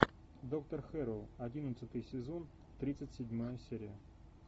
доктор хэрроу одиннадцатый сезон тридцать седьмая серия